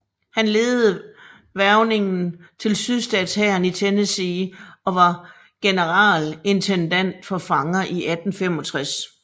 Han ledede hvervningen til sydstatshæren i Tennessee og var generalintendant for fanger i 1865